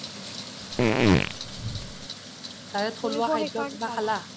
তাৰে থলুৱা খাদ্য কিবা খালা ?